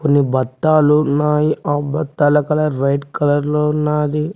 కొన్ని బత్తాలున్నాయి ఆ బత్తాల కలర్ రైట్ కలర్ లో ఉన్నాది.